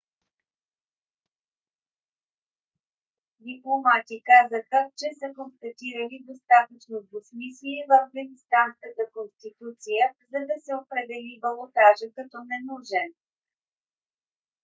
дипломати казаха че са констатирали достатъчно двусмислие в афганистанската конституция за да се определи балотажа като ненужен